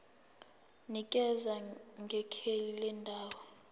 nikeza ngekheli lendawo